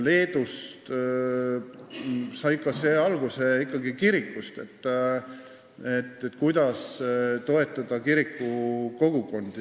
Leedus sai see ka alguse kirikust ehk sellest, kuidas toetada kiriku kogukondi.